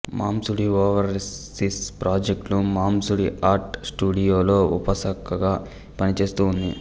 మంసుడీ overseas ప్రాజెక్టులు మంసుడీ art స్టూడియోలో ఉపశాఖగా పనిచేస్తూ ఉంది